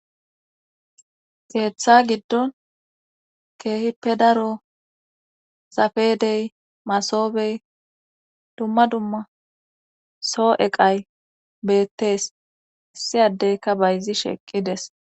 geeththa giddon keehippe daro zafedey masobey dumma dumma soo eqay beettes issi addeyka bayzi sheeqqides